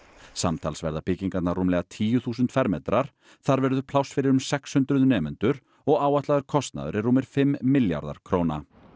samtals verða byggingarnar rúmlega tíu þúsund fermetrar þar verður pláss fyrir um sex hundruð nemendur og áætlaður kostnaður er rúmir fimm milljarðar króna